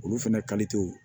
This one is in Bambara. Olu fɛnɛ